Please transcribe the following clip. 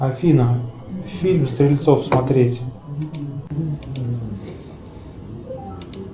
афина фильм стрельцов смотреть